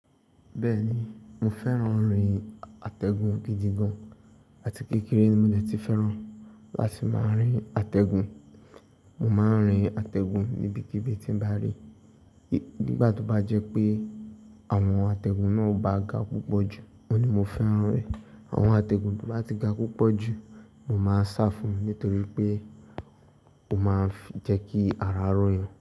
Bẹ́ẹ̀ni, mo fẹ́ran rin atẹgun gidi gan. Àti kékeré ni mo dẹ̀ tí fẹ́ran láti máa rín atẹgun. Mo máa n rín atẹgun níbikíbi tí n bá rí. Nígbà tó bá jẹ́ pé àwọn atẹgun náà ò bá ga púpọ̀ jù, òní mo fẹ́ran rín. Àwọn atẹgun to bá tí ga púpọ̀ jù, mo máa n sá fún un nítorí pé ó máa ń jẹ́ kí ara rọ̀ yàn.